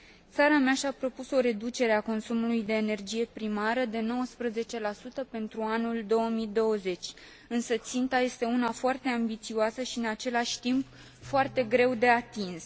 Țara mea și a propus o reducere a consumului de energie primară de 19 pentru anul 2020, însă ținta este una foarte ambițioasă și, în același timp, foarte greu de atins.